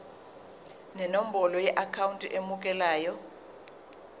nenombolo yeakhawunti emukelayo